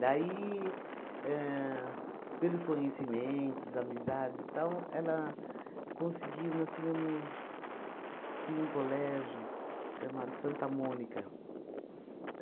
Daí, ahn pelos conhecimentos, amizades e tal, ela conseguiu... Nós tínhamos... Tinha um colégio chamado Santa Mônica.